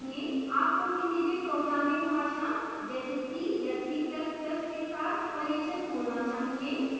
आपको किसी भी programming भाषा जैसे c या c ++ के साथ परिचित होना चाहिए